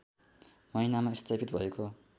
महिनामा स्थापित भएको